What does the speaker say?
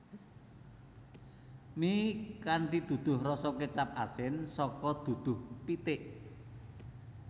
Mi kanthi duduh rasa kecap asin saka duduh pitik